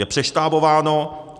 Je přeštábováno.